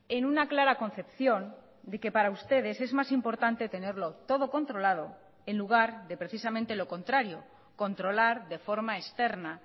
en una clara concepción de que para ustedes es más importante tenerlo todo controlado en lugar de precisamente lo contrario controlar de forma externa